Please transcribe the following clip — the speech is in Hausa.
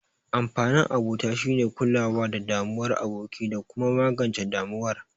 Amfanin abota shine kulawa da damuwar aboki, da kuma magance damuwar